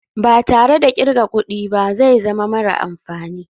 Ba tare da kirga kudi ba zai zama mara amfani.